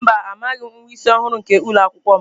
Mba, amaghim nwa isi ọhụrụ nke ụlọ akwụkwọ m.